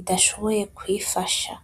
idashomboye kwifasha.